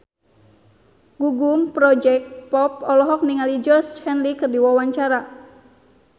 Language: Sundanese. Gugum Project Pop olohok ningali Georgie Henley keur diwawancara